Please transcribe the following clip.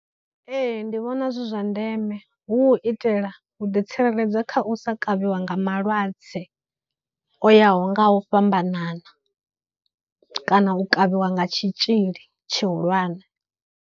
Ee, ndi vhona zwi zwa ndeme hu u itela u ḓi tsireledza kha u sa kavhiwa nga malwadze o yaho nga u fhambanana kana u kavhiwa nga tshitzhili tshihulwane.